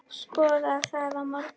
Skoðum það á morgun.